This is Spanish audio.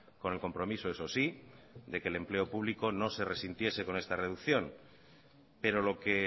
con el compromiso eso sí de que el empleo público no se resintiese con esta reducción pero lo que